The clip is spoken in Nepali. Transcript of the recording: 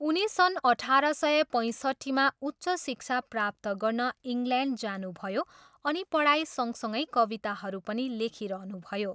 उनी सन् अठार सय पैँसट्ठीमा उच्च शिक्षा प्राप्त गर्न इङ्ल्यान्ड जानुभयो अनि पढाइ सँगसगै कविताहरू पनि लेखिरहनुभयो।